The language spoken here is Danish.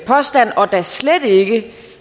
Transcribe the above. påstand og da slet ikke